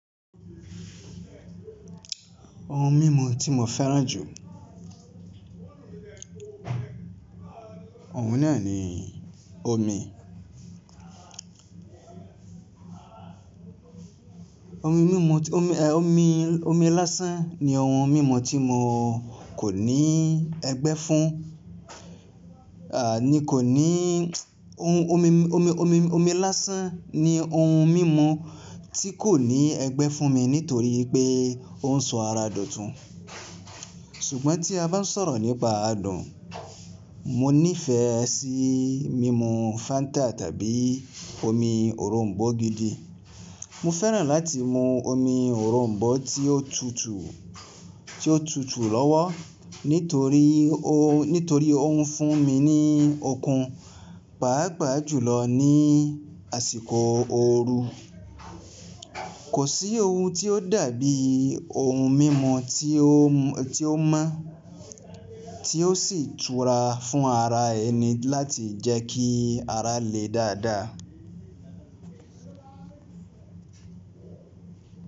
Ohun mímu tí mo fẹ́ràn jù ohun náà ni omi omi mímu omi, omi, omi lásán ni ohun mímu tí mo kò ní ẹgbẹ́ fún. Ah ni kò ní ohun omi, omi, omi, omi lásán ni ohun mímu tí kò ní ẹgbẹ́ fún mi nítorí pé òun sọ ara dọ̀tun. Ṣùgbọ́n tí a bá ń sọ̀rọ̀ nípa adùn, mo nifẹ sí mímu Fanta tàbí omi orombọ gidi. Mo fẹ́ràn láti mu omi orombọ tí ó tútù tí ó tútù lọ́wọ́ nítorí ó nítorí òun fún mi ní okun pàápàá jùlọ ní àsìkò oru. Kò sí ohun tí ó dàbí ohun mímu tí ó tí ó mọ́, tí ó sì tura fún ara ẹni láti jẹ́ kí ara le dáadáa.